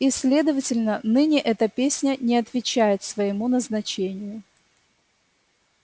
и следовательно ныне эта песня не отвечает своему назначению